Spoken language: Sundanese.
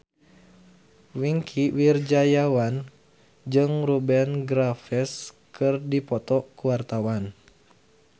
Wingky Wiryawan jeung Rupert Graves keur dipoto ku wartawan